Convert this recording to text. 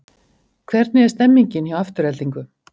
Hvernig er stemningin hjá Aftureldingu?